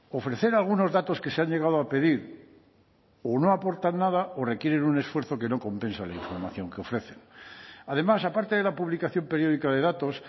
ofrecer algunos datos que se han llegado a pedir o no aportan nada o requieren un esfuerzo que no compensa la información que ofrecen además aparte de la publicación periódica de datos